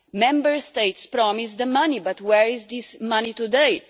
Members States promised the money, but where is this money today?